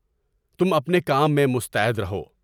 تم اپنے کام میں مستعد رہو۔